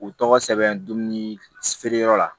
U tɔgɔ sɛbɛn dumuni feere yɔrɔ la